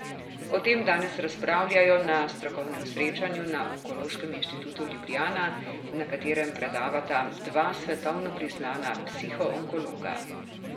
O tem danes razpravljajo na strokovnem srečanju na Onkološkem inštitutu Ljubljana, na katerem predavata dva svetovno priznana psihoonkologa.